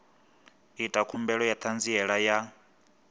ita khumbelo ya ṱhanziela ya